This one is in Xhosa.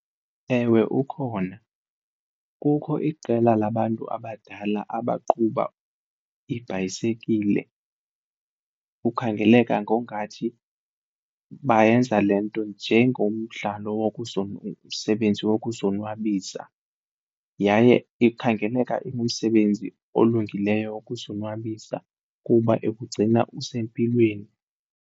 Ewe, ukhona. Kukho iqela labantu abadala abaqhuba iibhayisekile kukhangeleka ngongathi bayenza le nto njengomdlalo, msebenzi wokuzonwabisa yaye ikhangeleka umsebenzi olungileyo wokuzonwabisa kuba ikugcina usempilweni.